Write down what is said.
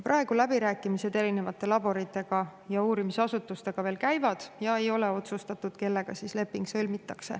Praegu läbirääkimised erinevate laborite ja uurimisasutustega veel käivad ja ei ole otsustatud, kellega leping sõlmitakse.